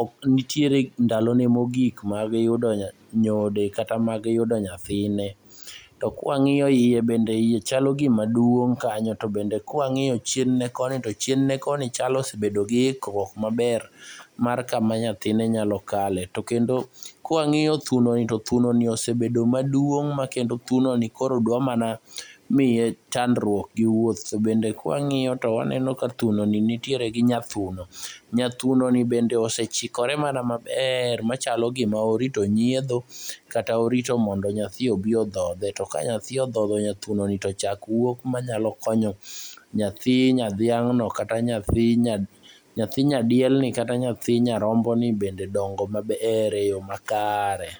ok nitiere ndalone mogik mag yudo nyodo kata mag yudo nyathine. To kwang'iyo iye bende iye chalo gima duong' kanyo to bende ka wang'iyo chien ne koni to chien ne koni chalo ni osebedo giikruok maber mar kama nyathine nyalo kale to kendo kwang'iyo thunoni to thunoni osebedo maduong' makendo thunoni koro dwa mana miye chandruok gi wuoth. To bende kwang'iyo to waneno ka thunoni nitiere gi nyathuno. Nyathunoni bende osechikore mana maber machalo gima orito nyiedho kata orito mondo nyathi obi odhodhe to ka nyathi odhodho nyathunoni to chak wuok manyalo konyo nyathi nyadhiang'no kata yathi nyadielni kata nyathi nyaromboni bende dongo maber eyo makare.